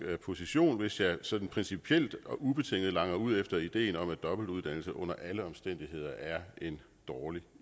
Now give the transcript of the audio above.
position hvis jeg sådan principielt og ubetinget langer ud efter ideen om at dobbeltuddannelse under alle omstændigheder er en dårlig